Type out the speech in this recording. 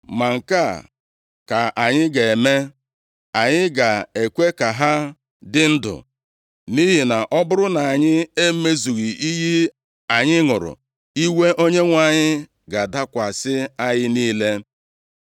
Ma nke a ka anyị ga-eme. Anyị ga-ekwe ka ha dị ndụ, nʼihi na ọ bụrụ na anyị emezughị iyi anyị ṅụrụ, iwe Onyenwe anyị ga-adakwasị anyị niile.”